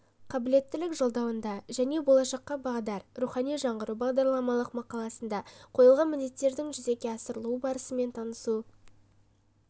қабілеттілік жолдауында және болашаққа бағдар рухани жаңғыру бағдарламалық мақаласында қойылған міндеттердің жүзеге асырылу барысымен танысу